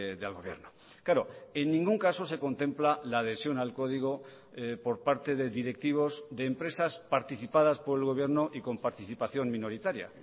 del gobierno claro en ningún caso se contempla la adhesión al código por parte de directivos de empresas participadas por el gobierno y con participación minoritaria